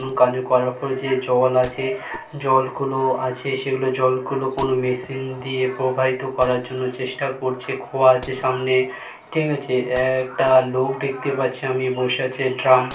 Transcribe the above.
জল আছে |জল গুলো আছে সেগুলো জল গুলো কোন মেশিন দিয়ে প্রবাহিত করার জন্য চেষ্টা করছে | খোয়া আছে সামনে ঠিক আছে |একটা লোক দেখতে পাচ্ছি আমি বসে আছে ড্রাম --|